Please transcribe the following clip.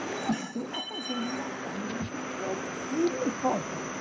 Eu apenas consegui jantar, mas fiquei firme e forte lá.